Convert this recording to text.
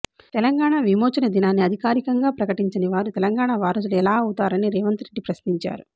తెలంగాణ విమోచన దినాన్ని అధికారికంగా నిర్వహించనివారు తెలంగాణ వారసులు ఎలా అవుతారని రేవంత్ రెడ్డి ప్రశ్నించారు